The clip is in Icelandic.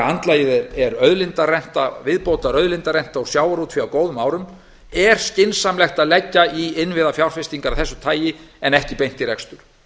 andlagið er viðbótarauðlindarenta á sjávarútveg á góðum árum er skynsamlegt að leggja í innviðafjárfestingar af þessu tagi en ekki beint í rekstur